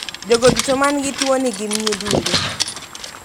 Jogo duto man gi tuo ni gin nyidunde.